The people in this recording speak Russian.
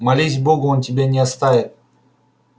молись богу он тебя не оставит